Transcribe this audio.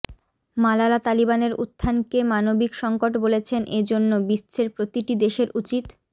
মালালাতালিবানের উত্থান কে মানবিক সংকট বলেছেন এ জন্য বিশ্বের প্রতি টি দেশের উচিত